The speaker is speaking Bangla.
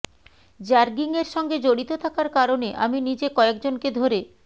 র্যাগিংয়ের সঙ্গে জড়িত থাকার কারণে আমি নিজে কয়েকজনকে ধরে